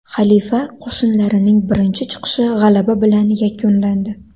Xalifa qo‘shinlarining birinchi chiqishi g‘alaba bilan yakunlandi.